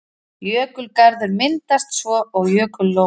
Jökulgarður myndast svo og jökullón.